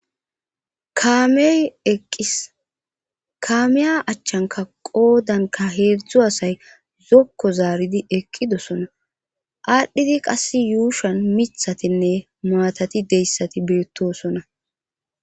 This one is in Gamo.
Kaamey eqqis kaameya achchanka qoodanka heedzdzu asay zokko zaaridi eqqidosona aadhdhidi qass yuushan mithatinne maatati deyssati beettosona.